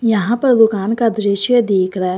यहां पर दुकान का दृश्य दिख रहा है।